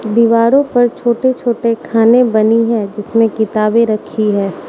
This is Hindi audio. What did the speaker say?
दीवारों पर छोटे छोटे खाने बनी है जिसमें किताबें रखी है।